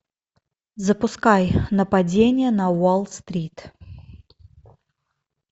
запускай нападение на уолл стрит